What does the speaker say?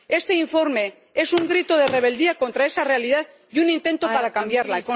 Este informe es un grito de rebeldía contra esa realidad y un intento por cambiarla.